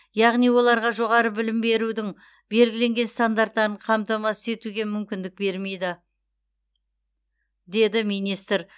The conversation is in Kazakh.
яғни оларға жоғары білім берудің белгіленген стандарттарын қамтамасыз етуге мүмкіндік бермейді деді министр